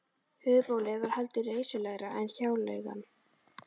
Höfuðbólið var heldur reisulegra en hjáleigan.